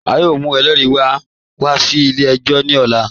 A yọọ mù ẹlẹ́ri wá wà sí ilẹ̀-ẹ̀jọ̀ ní òlà.